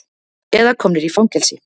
Eða komnir í fangelsi.